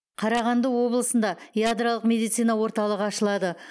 қарағанды облысында ядролық медицина орталығы ашылады